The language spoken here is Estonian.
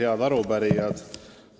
Head arupärijad!